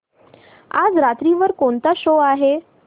आज रात्री वर कोणता शो आहे